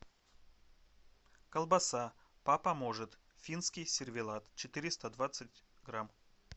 колбаса папа может финский сервелат четыреста двадцать грамм